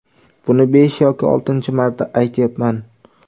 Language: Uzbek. Buni besh yoki oltinchi marta aytyapman.